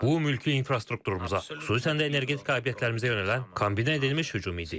Bu mülki infrastrukturumuza, xüsusən də energetik obyektlərimizə yönələn kombinə edilmiş hücum idi.